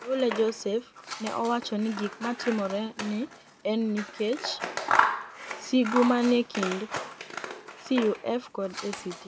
Mteule Joseph ni e owacho nii gik matimore ni e eni niikech sigu maniie kinid CUF kod ACT.